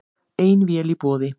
Ein vél í boði